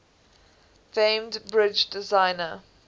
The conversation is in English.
famed bridge designer